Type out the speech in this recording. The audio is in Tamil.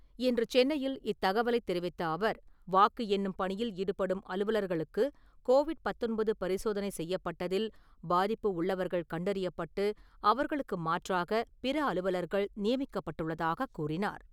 இன்று சென்னையில் இத்தகவலைத் தெரிவித்த அவர், வாக்கு எண்ணும் பணியில் ஈடுபடும் அலுவலர்களுக்குக் கோவிட் -பத்தொன்பது பரிசோதனை செய்யப்பட்டதில், பாதிப்பு உள்ளவர்கள் கண்டறியப்பட்டு, அவர்களுக்கு மாற்றாக பிற அலுவலர்கள் நியமிக்கப்பட்டுள்ளதாகக் கூறினார்.